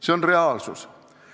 See on reaalsus.